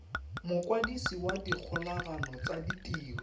mokwadisi wa dikgolagano tsa ditiro